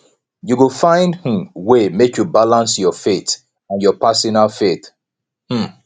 you go find um way make you balance your faith and your personal faith um